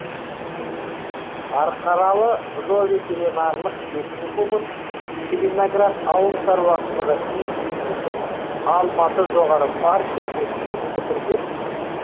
қарқаралы зооветеринарлык техникумын целиноград ауыл шаруашылығы институтын алматы жоғары партия мектебін бітірген